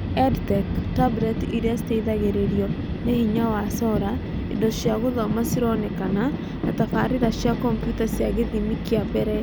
EdTech: Tableti irĩa citeithagĩrĩrio ni hinya wa sola, indo cia gũthoma cironekana, na tabarĩĩra cia komputa cia gĩthimi kĩa mbere.